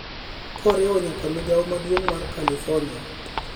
koriwo nyaka migao maduong’ mar Kalifornia,